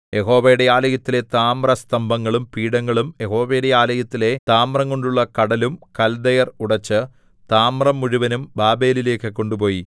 യഹോവയുടെ ആലയത്തിലെ താമ്രസ്തംഭങ്ങളും പീഠങ്ങളും യഹോവയുടെ ആലയത്തിലെ താമ്രംകൊണ്ടുള്ള കടലും കൽദയർ ഉടച്ച് താമ്രം മുഴുവനും ബാബേലിലേക്കു കൊണ്ടുപോയി